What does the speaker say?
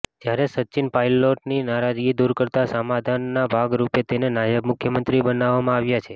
જયારે સચિન પાયલોટની નારાજગી દુર કરતા સમાધાનના ભાગ રૂપે તેને નાયબ મુખ્યમંત્રી બનવવામાં આવ્યા છે